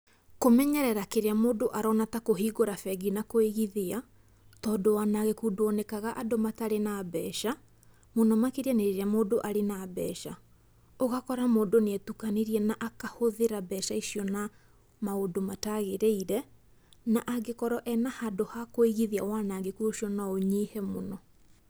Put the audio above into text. Kũmenyerera kĩrĩa mũndũ arona ta kũhingũra bengi na kũigithia, tondũ wanangĩku nduonekaga andũ matarĩ na mbeca, mũno makĩria nĩ rĩrĩa mũndũ arĩ na mbeca. Ũgakora mũndũ nĩetukanirie na akahũthĩra mbeca icio na maũndũ matagĩrĩire, na angĩkorwo e na handũ ha kũigithia wanangĩku ũcio no ũnyihe mũno.